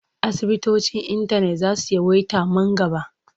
Asibitocin intanet za su yawaita man gaba.